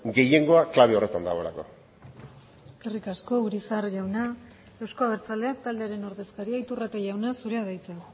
gehiengoa klabe horretan dagoelako eskerrik asko urizar jauna euzko abertzaleak taldearen ordezkaria iturrate jauna zurea da hitza